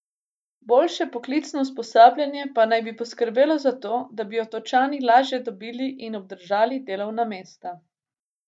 Boljše poklicno usposabljanje pa naj bi poskrbelo za to, da bi Otočani lažje dobili in obdržali delovna mesta.